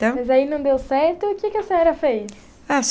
Então. Mas aí não deu certo, o que que a senhora fez?